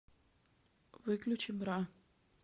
выключи бра